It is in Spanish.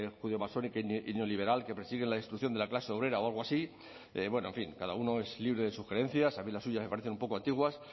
judeomasónica y neoliberal que persigue la destrucción de la clase obrera o algo así en fin cada uno es libre de sugerencias a mí las suyas me parecen un poco antiguas